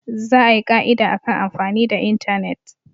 Za a yi ka'ida akan amfani da intanet.